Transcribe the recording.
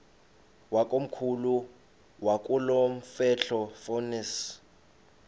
wakomkhulu wakulomfetlho fonis